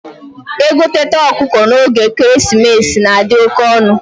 egoteta ọkụkọ na oge ekeresimesi na adi oke onu